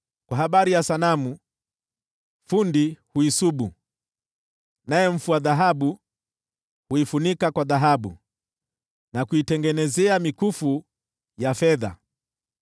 Kwa habari ya sanamu, fundi huisubu, naye mfua dhahabu huifunika kwa dhahabu na kuitengenezea mikufu ya fedha.